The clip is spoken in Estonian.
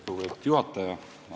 Lugupeetud juhataja!